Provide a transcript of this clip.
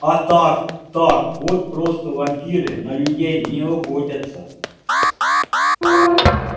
а так так вот просто вампиры на людей не охотятся